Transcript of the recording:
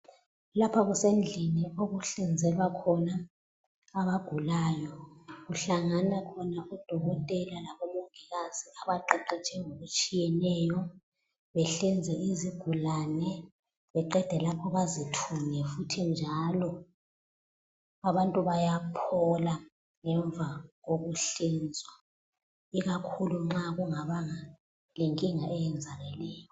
Lapha kusendlini okuhlinzelwa khona abagulayo, kuhlangana khona udokotela labomongikazi abaqeqetshe ngokutshiyeneyo behlinze izigulane beqede lapho bazithunge futhi njalo. Abantu bayaphola ngemva kokuhlinzwa ikakhulu nxa kungabanga lenkinga eyenzakeleyo.